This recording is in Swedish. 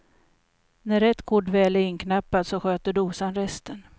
När rätt kod väl är inknappad, så sköter dosan resten.